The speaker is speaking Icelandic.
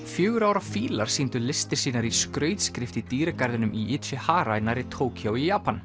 fjögurra ára fílar sýndu listir sínar í skrautskrift í dýragarðinum í Ichihara nærri Tókýó í Japan